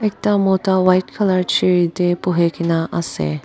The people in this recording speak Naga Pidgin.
ekta mota white colour chair tae buhikae na ase.